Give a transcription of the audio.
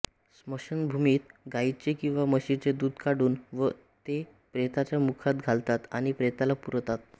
स्मशानभूमीत गाईचे किंवा म्हशीचे दूध काढून ते प्रेताच्या मुखात घालतात आणि प्रेताला पुरतात